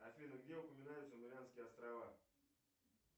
афина где упоминаются марианские острова